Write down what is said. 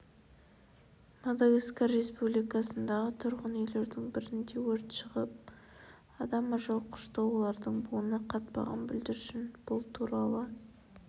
мадагаскар республикасындағы тұрғын үйлердің бірінде өрт шығып адам ажал құшты олардың буыны қатпаған бүлдіршін бұл туралы